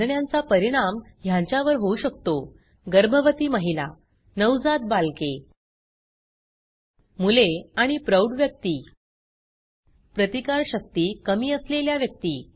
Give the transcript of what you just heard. कांजिण्यांचा परिणाम ह्यांच्यावर होऊ शकतो गर्भवती महिला नवजात बालके मुले आणि प्रौढ व्यक्ती प्रतिकार शक्ती कमी असलेल्या व्यक्ती